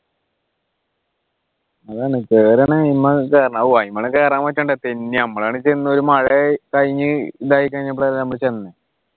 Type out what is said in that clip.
അതാണ് കെറുവാണെങ്കിൽ കേറാൻ പറ്റണ്ടേ തെന്നി നമ്മളാണെ ചെന്ന ഒരു മഴ കഴിഞ്ഞു ഇതായിക്കഴിഞ്ഞപ്പോളാ നമ്മള് ചെന്നത്